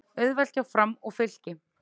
Auðvelt hjá Fram og Fylki